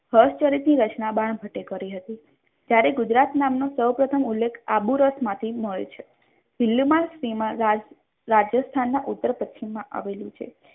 હર્ષચરિત ની રચના બાણભટ્ટે કરી હતી ત્યારે ગુજરાત નામનું સૌપ્રથમ ઉલ્લેખ આબુરતમાંથી મળે છે દિલ્હીમાં શેમાં રાજસ્થાનના ઉત્તર પશ્ચિમ માં આવેલું છે.